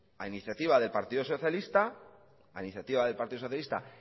a iniciativa del partido socialista